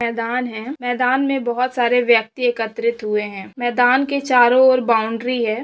मैदान है मैदान में बहुत सारे व्यक्ति एकत्रित हुए हैं मैदान के चारों और बाउंड्री हैं।